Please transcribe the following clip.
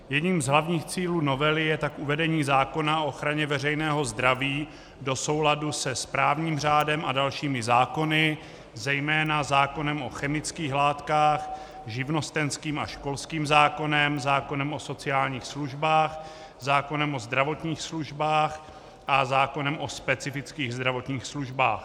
Jedním z hlavních cílů novely je tak uvedení zákona o ochraně veřejného zdraví do souladu se správním řádem a dalšími zákony, zejména zákonem o chemických látkách, živnostenským a školským zákonem, zákonem o sociálních službách, zákonem o zdravotních službách a zákonem o specifických zdravotních službách.